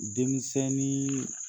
Denmisɛnnin